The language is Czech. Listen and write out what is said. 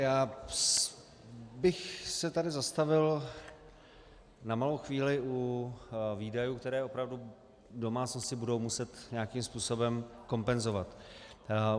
Já bych se tady zastavil na malou chvíli u výdajů, které opravdu domácnosti budou muset nějakým způsobem kompenzovat.